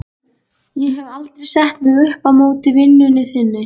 Ég hef aldrei sett mig upp á móti vinnunni þinni.